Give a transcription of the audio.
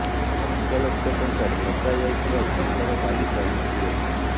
ଲକ୍ଷ ଲକ୍ଷ ଟଙ୍କାରେ ଲଗାଯାଇଥିବା ଘାସର ଗାଲିଚା ଲୁଚି ଗଲାଣି